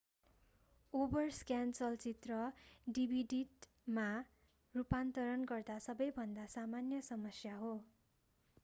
overscan चलचित्र डिभिडिटमा रूपान्तरण गर्दा सबैभन्दा सामान्य समस्या हो